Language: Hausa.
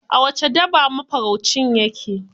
A wace daba mafaraucin ya ke?